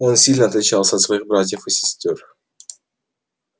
он сильно отличался от своих братьев и сестёр